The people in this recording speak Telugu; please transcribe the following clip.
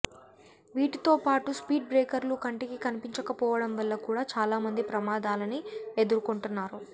వీటితోపాటూ స్పీడ్ బ్రేకర్లు కంటికి కనిపించకపోవడం వల్ల కూడా చాలామంది ప్రమాదాలని ఎదుర్కొంటున్నారు